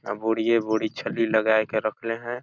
अब बुड़िए बूड़ी छल्ली लगाए के रखले है।